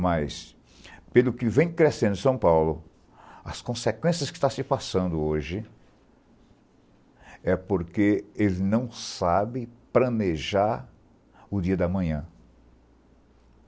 Mas, pelo que vem crescendo São Paulo, as consequências que está se passando hoje é porque eles não sabe planejar o dia do manhã.